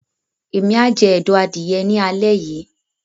Emi a jẹ ẹdọ adìyẹ ní alẹ yìí.